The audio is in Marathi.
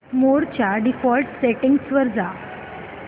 मोड च्या डिफॉल्ट सेटिंग्ज वर जा